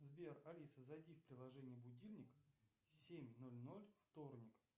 сбер алиса зайди в приложение будильник семь ноль ноль вторник